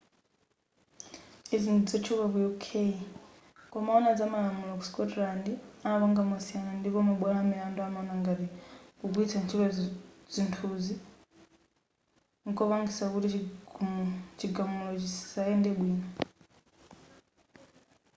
izi ndizotchuka ku uk koma wowona zamalamulo ku scotland amapanga mosiyana ndipo mabwalo amilandu amaona ngati kugwiritsa ntchito zithunzi nkopangisa kuti chigamulo chisayende bwino